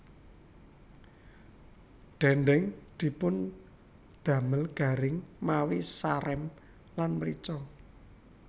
Dhendheng dipundamel garing mawi sarem lan mrica